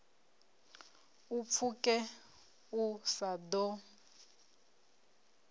u pfuke u sa ḓo